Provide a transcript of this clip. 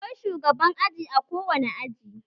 Akwai shugaban aji a kowane aji